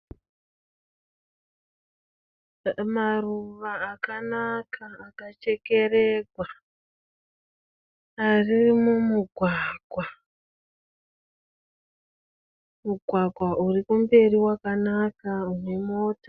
Maruva akanaka akachekererwa, ari mumugwaga. Mugwagwa uri kumberi wakanaka une mota.